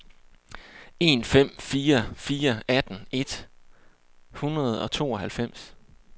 en fem fire fire atten et hundrede og tooghalvfems